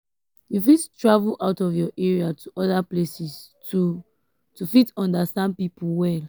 you fit travel out of your area to oda places to to fit understand pipo well